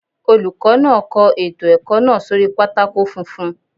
Olùkọ́ náà kọ ètò ẹ̀kọ́ náà sórí pátákó funfun.